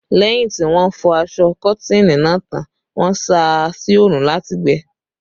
Lẹ́yìn tí wọ́n fọ aṣọ Kọ́tìnì náà tán, wọ́n sá a sí orun láti gbẹ